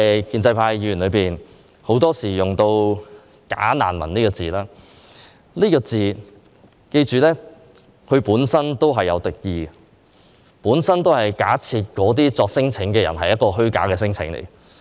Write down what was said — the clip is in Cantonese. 建制派議員很多時候用"假難民"這個詞語，請記着，這個詞語本身帶有敵意，是假設那些免遣返聲請申請者作出虛假的聲請。